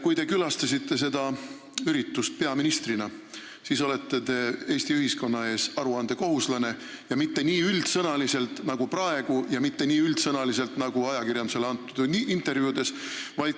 Kui te külastasite seda üritust peaministrina, siis te olete Eesti ühiskonna ees aruandekohuslane ja mitte nii üldsõnaliselt nagu praegu ja mitte nii üldsõnaliselt nagu ajakirjandusele antud intervjuudes.